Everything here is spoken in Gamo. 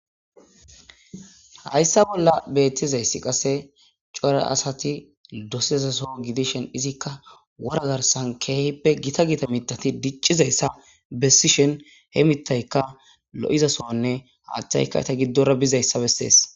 Haysa bolla betizas qase cora asati dosizaso gidishin izakka woran garsen kehipe gita gita mitati dicizaysa besishen he mitaykka lo'iza sohonne hathaykka iza gidora bizaysa besese